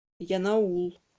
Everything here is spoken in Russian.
янаул